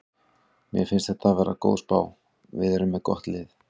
Mér finnst þetta vera góð spá, við erum með gott lið.